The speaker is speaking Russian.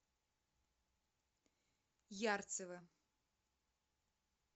ярцево